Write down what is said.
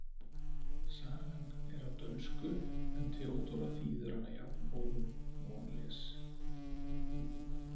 Sagan er á dönsku en Theodóra þýðir hana jafnóðum og hún les.